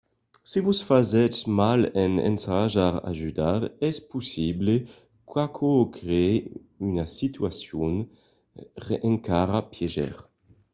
se vos fasètz mal en ensajar d'ajudar es possible qu'aquò crèe una situacion encara pièger